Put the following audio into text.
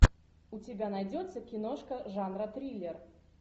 у тебя найдется киношка жанра триллер